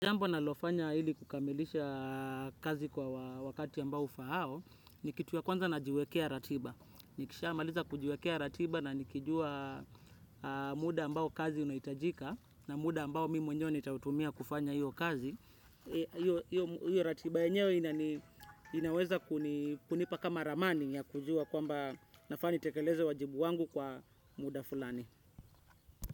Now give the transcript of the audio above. Jambo linalofanya ili kukamilisha kazi kwa wakati ambayo ufaao ni kitu ya kwanza najiwekea ratiba. Nikisha maliza kujiwekea ratiba na nikijua muda ambao kazi unahitajika na muda ambao mimi mwenyewe nitautumia kufanya hiyo kazi. Hiyo ratiba enyewe inaweza kunipa kama ramani ya kujua kwamba nafaa nitekeleze wajibu wangu kwa muda fulani.